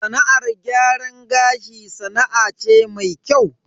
Sana'ar gyaran gashi sana'a ce mai kyau.